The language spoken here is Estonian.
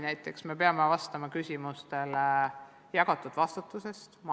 Näiteks me peame vastama küsimustele jagatud vastutusest.